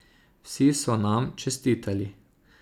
Vsi so nam čestitali.